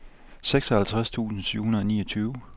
seksoghalvtreds tusind syv hundrede og niogtyve